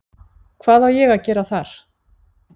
Hvað á ég að gera þar?